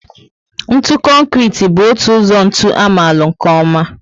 Ntụ Konkrete bú otu ụzọ ntụ amalu nkè oma